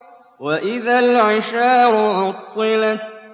وَإِذَا الْعِشَارُ عُطِّلَتْ